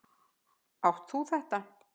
Átt þú þetta?